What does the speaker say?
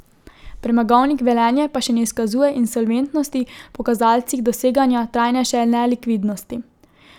Premogovnik Velenje pa še ne izkazuje insolventnosti po kazalcih doseganja trajnejše nelikvidnosti.